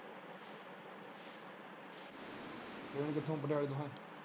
Train ਕਿਥੋਂ ਪਟਿਆਲੇ ਤੋਂ ਦੇਖਾ?